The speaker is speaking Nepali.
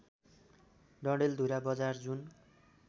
डडेलधुरा बजार जुन